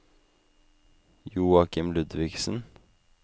Joachim Ludvigsen